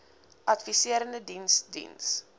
adviserende diens diens